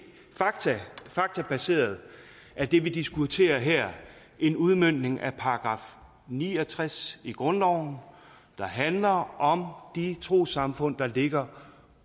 faktabaseret er det vi diskuterer her en udmøntning af § ni og tres i grundloven der handler om de trossamfund der ligger